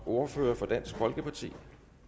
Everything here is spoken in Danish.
ordfører for dansk folkeparti